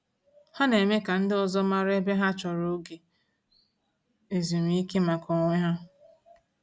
Ha na-eme ka ndị ọzọ mara mgbe ha chọrọ oge ezumiike maka onwe ha.